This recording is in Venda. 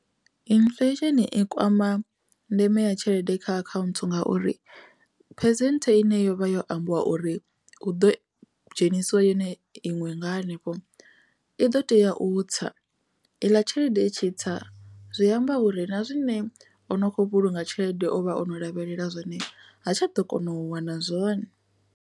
Inifuḽesheni i kwama ndeme ya tshelede kha akhaunthu ngauri phesenthe ine yovha yo ambiwa uri hu ḓo dzhenisiwa yone iṅwe nga hanefho i ḓo tea u tsa iḽa tshelede i tshi tsa zwi amba uri na zwine o no kho vhulunga tshelede o vha ono lavhelela zwone ha tsha ḓo kona u wana zwone.